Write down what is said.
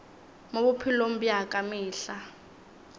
mo bophelong bja ka mehla